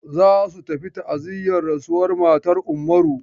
Za su tafi ta'aziyar rasuwar matan Ummaru.